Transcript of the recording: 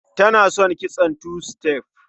Tana son kitson two step.